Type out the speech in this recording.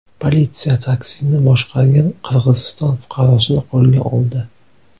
Politsiya taksini boshqargan Qirg‘iziston fuqarosini qo‘lga oldi.